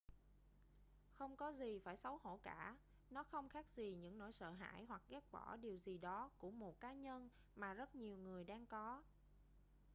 không có gì phải xấu hổ cả nó không khác gì những nỗi sợ hãi hoặc ghét bỏ điều gì đó của một cá nhân mà rất nhiều người đang có